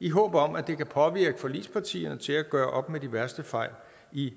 i håb om at det kan påvirke forligspartierne til at gøre op med de værste fejl i